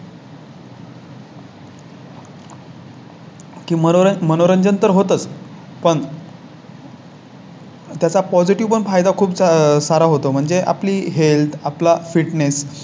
आज मी तुम्हाला छत्रपती शिवाजी महाराजांचे थोडक्यात सांगणार आहे तर त्यांची जीवनकथा ही तुम्ही ऐकावी अशी माझी विनंती